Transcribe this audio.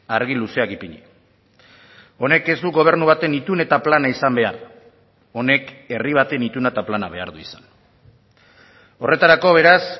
argi luzeak ipini honek ez du gobernu baten itun eta plana izan behar honek herri baten ituna eta plana behar du izan horretarako beraz